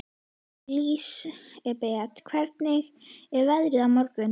Lísebet, hvernig er veðrið á morgun?